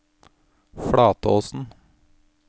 Flatåsen